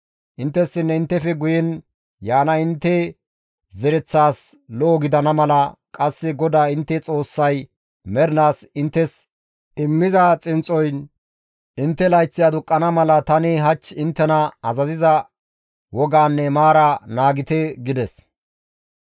Inttessinne inttefe guyen yaana intte zereththaas lo7o gidana mala qasse GODAA intte Xoossay mernaas inttes immiza xinxxoyn intte layththi aduqqana mala tani hach inttena azaziza wogaanne maaraa naagite» gides.